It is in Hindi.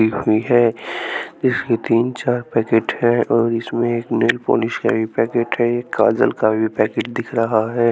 है इसके तीन चार पैकेट हैं और इसमें एक नेल पॉलिश का भी पैकेट है एक काजल का भी पैकेट दिख रहा है।